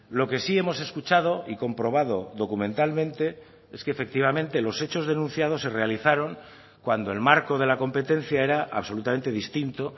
lo que sí hemos escuchado y comprobado documentalmente es que efectivamente los hechos denunciados se realizaron cuando el marco de la competencia era absolutamente distinto